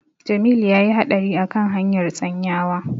Jamilu ya yi haɗari a kan hanyar Tsanyawa.